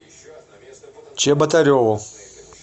чеботареву